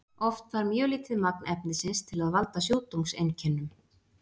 Oft þarf mjög lítið magn efnisins til að valda sjúkdómseinkennum.